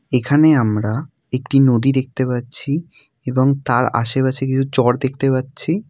এখানে আমরা একটি নদী দেখতে পাচ্ছি এবং তার আশেপাশে কিছু চড় দেখতে পাচ্ছি।